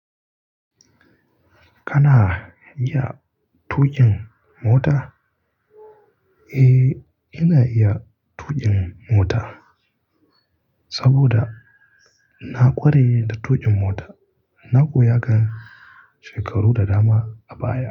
Kana iya tuƙin mota? Eh, ina iya tuƙin mota saboda na ƙware da tuƙin mota. Na koya kan shekaru da dama a baya.